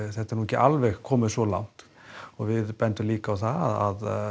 þetta er ekki alveg komið svo langt og við bendum líka á það að